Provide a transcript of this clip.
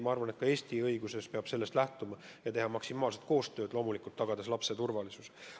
Ma arvan, et ka Eesti õiguses peab sellest lähtuma ja tuleb teha maksimaalselt koostööd, et tagada lapse turvalisus.